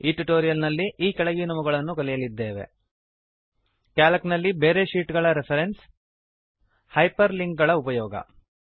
ಈ ಟ್ಯುಟೋರಿಯಲ್ ನಲ್ಲಿ ಈ ಕೆಳಗಿನವುಗಳನ್ನು ಕಲಿಯಲಿದ್ದೇವೆ ಕ್ಯಾಲ್ಕ್ ನಲ್ಲಿ ಬೇರೆ ಶೀಟ್ ಗಳ ರೆಫ್ರೆನ್ಸ್ ಹೈಪರ್ ಲಿಂಕ್ ಗಳ ಉಪಯೋಗ